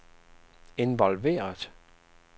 involveret